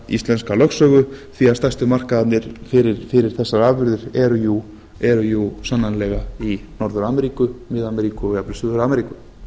íslenska lögsögu því að stærsti markaðurinn fyrir þessar afurðir er sannarlega í norður ameríku mið ameríku og jafnvel suður ameríku